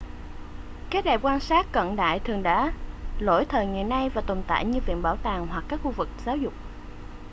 các đài quan sát cận đại thường đã lỗi thời ngày nay và tồn tại như viện bảo tàng hoặc các khu vực giáo dục